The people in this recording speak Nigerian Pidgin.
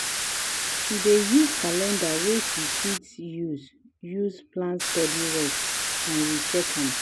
she dey use calender wey she fit see use use plan studyrest and recheck am.